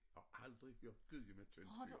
Har aldrig hørt gudhjemmetyndt før